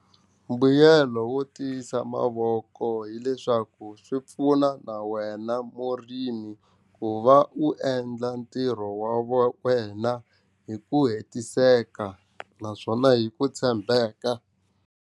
Mbuyelo wo tiyisa mavoko hileswaku swi pfuna na wena murimi ku va u endla ntirho wa wena hi ku hetiseka naswona hi ku tshembeka.